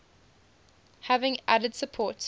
having added support